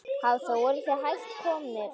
Hafþór: Voruð þið hætt komnir?